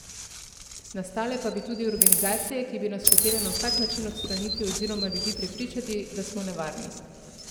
Nastale pa bi tudi organizacije, ki bi nas hotele na vsak način odstraniti oziroma ljudi prepričati, da smo nevarni.